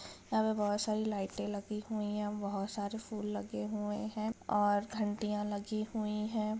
यहा पर बहुत सारी लाइटे लगी हुई है बहुत सारे फूल लगे हुए है और घंटिया लगी हुई है।